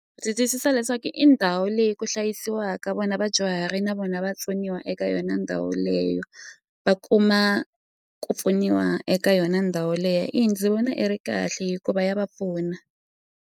Ndzi twisisa leswaku i ndhawu leyi ku hlayisiwaka vona vadyuhari na vona vatsoniwa eka yona ndhawu leyo va kuma ku pfuniwa eka yona ndhawu leya eya ndzi vona i ri kahle hikuva ya va pfuna.